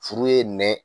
Furu ye nɛn